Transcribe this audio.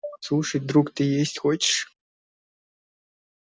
слушай друг ты есть хочешь